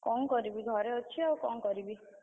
କଣ କରିବି ଘରେ ଅଛି ଆଉ କଣ କରିବି?